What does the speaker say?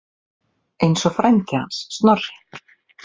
Eins og frændi hans Snorri.